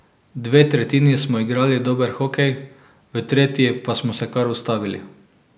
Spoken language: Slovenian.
Dve tretjini smo igrali dober hokej, v tretji pa smo se kar ustavili.